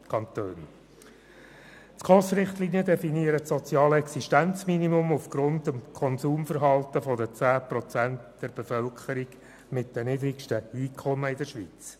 Die SKOS-Richtlinien definieren das soziale Existenzminimum aufgrund des Konsumverhaltens der 10 Prozent der Bevölkerung mit den niedrigsten Einkommen in der Schweiz.